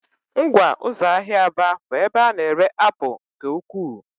Ngwa ụzọ ahịa Aba bụ ebe a na-ere apụl nke ukwuu.